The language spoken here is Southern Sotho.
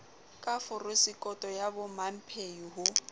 ka forosekoto ya bomamphehi ho